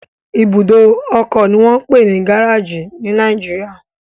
Ibùdó ọkọ ni wọ́n ń pè ní gáréèjì ní Nàìjíríà